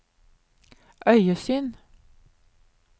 øyesyn